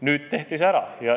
Nüüd tehti see ära.